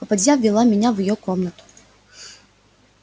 попадья ввела меня в её комнату